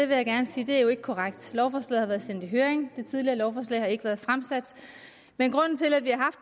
vil jeg gerne sige det er jo ikke korrekt lovforslaget har været sendt i høring det tidligere lovforslag har ikke været fremsat men grunden til at vi har